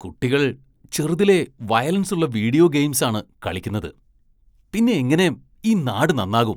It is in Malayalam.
കുട്ടികള്‍ ചെറുതിലെ വയലന്‍സുള്ള വീഡിയോ ഗെയിംസാണ് കളിക്കുന്നത്, പിന്നെങ്ങനെ ഈ നാട് നന്നാകും?